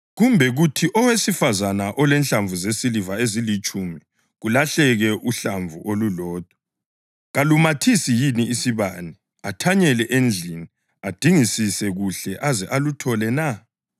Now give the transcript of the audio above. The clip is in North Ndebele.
“Kumbe kuthi owesifazane elenhlamvu zesiliva ezilitshumi kulahleke uhlamvu olulodwa. Kalumathisi yini isibane, athanyele endlini, adingisise kuhle aze aluthole na?